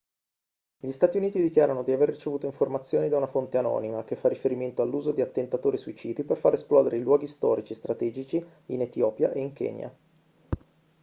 gli stati uniti dichiarano di aver ricevuto informazioni da una fonte anonima che fa riferimento all'uso di attentatori suicidi per far esplodere i luoghi storici strategici in etiopia e kenya